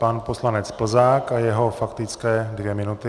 Pan poslanec Plzák a jeho faktické dvě minuty.